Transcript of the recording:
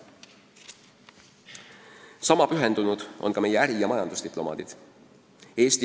Sama pühendunud on meie äri- ja majandusdiplomaadid.